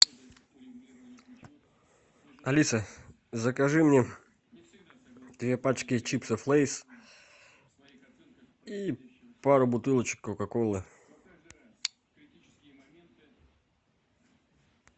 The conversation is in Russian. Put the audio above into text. алиса закажи мне две пачки чипсов лейс и пару бутылочек кока колы